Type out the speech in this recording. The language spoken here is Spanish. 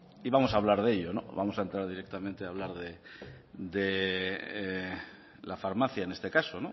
y vamos a hablar de ello vamos a entrar directamente hablar de la farmacia en este caso